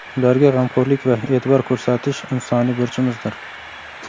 ularga g‘amxo‘rlik va e’tibor ko‘rsatish insoniy burchimizdir.